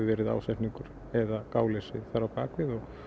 verið ásetningur eða gáleysi þar á bak við og